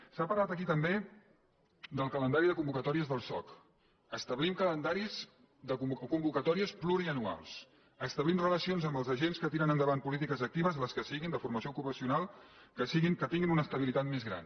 s’ha parlat aquí també del calendari de convocatòries del soc d’establir calendaris o convocatòries pluria·nuals d’establir relacions amb els agents que tiren en·davant polítiques actives les que siguin de formació ocupacional que tinguin una estabilitat més gran